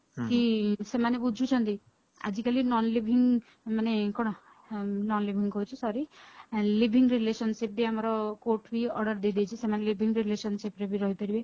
କି ସେମାନେ ଖୋଜୁଛନ୍ତି ଆଜି କାଲି ନୋନ non leaving ମାନେ କଣ non leaving କହୁଛି sorry living relationship ବି ଆମର court ବି order ଦେଇଦେଇଛି ସେମାନେ living relationship ରେ ବି ରହିପାରିବେ